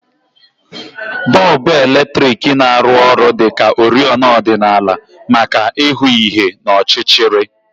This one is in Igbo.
Bọlbụ eletriki na-arụ ọrụ dị ka oriọna ọdịnala maka ịhụ ihe n'ọchịchịrị